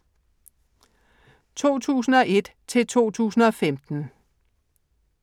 2001-2015